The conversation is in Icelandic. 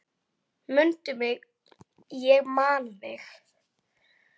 Mundu mig, ég man þig